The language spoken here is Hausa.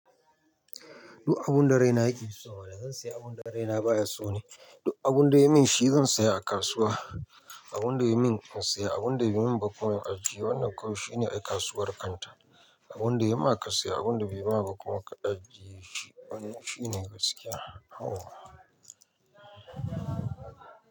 Duk abun da raina yake so mana zan saya, abun da raina baya so ne? Duk abun da ya min shi zan saya a kasuwa. Abun da ya min in saya, abun da bai min ba kuma in ajiye. Wannan kawai shine ai kasuwar kanta. Abun da ya ma ka saya, abun da bai maka ba kuma ka ajiye shi. Wannan shine gaskiya. Yauwa.